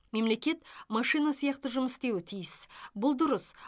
мемлекет машина сияқты жұмыс істеуі тиіс бұл дұрыс